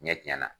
Ɲɛ tiɲɛna